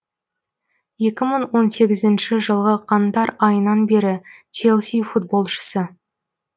екі мың он сегізінші жылғы қаңтар айынан бері челси футболшысы